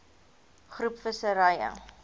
groep visserye